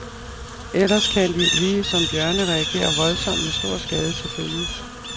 Ellers kan de, lige som bjørne, reagere voldsomt med stor skade til følge.